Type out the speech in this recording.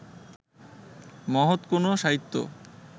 মহৎ কোনো সাহিত্য